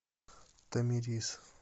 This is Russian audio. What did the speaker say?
тамерис